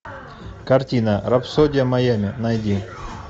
картина рапсодия майами найди